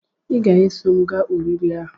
Ị ga-eso m gaa oriri ahu